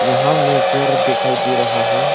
यहां मे घर दिखाई दे रहा है।